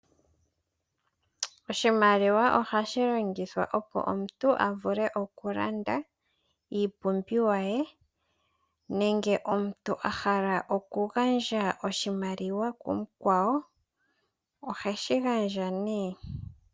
Oshimaiwa ohashi longithwa opo omuntu a vule okulanda iipumbiwa ye nenge omuntu a hala okugandja oshimaliwa kumukwawo oheshi gandja nduno.